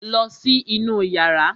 Lọ sí inú yàrá!